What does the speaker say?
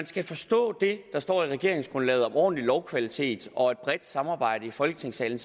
skal forstå det der står i regeringsgrundlaget om ordentlig lovkvalitet og et bredt samarbejde i folketingssalen